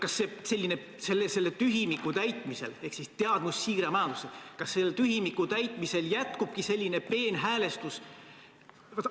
Kas selle tühimiku täitmisel – ehk teadmussiire majandusse – jätkubki selline peenhäälestus?